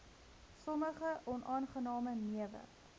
sommige onaangename newe